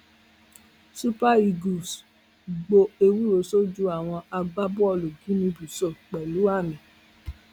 super eagles gbo ewúro sójú àwọn agbábọọlù guinea bissau pẹlú àmì